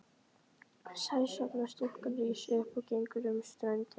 Sæsorfna stúlkan rís upp og gengur um ströndina.